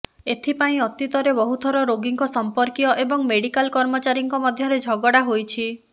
ଏଥିପାଇଁ ଅତୀତରେ ବହୁଥର ରୋଗୀଙ୍କ ସମ୍ପର୍କୀୟ ଏବଂ ମେଡିକାଲ କର୍ମଚାରୀଙ୍କ ମଧ୍ୟରେ ଝଗଡା ହୋଇଛି